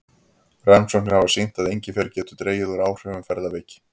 Rannsóknir hafa sýnt að engifer getur dregið úr áhrifum ferðaveiki.